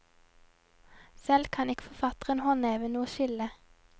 Selv kan ikke forfatteren håndheve noe skille.